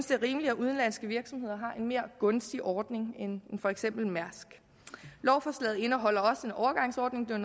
det er rimeligt at udenlandske virksomheder har en mere gunstig ordning end for eksempel mærsk lovforslaget indeholder også en overgangsordning det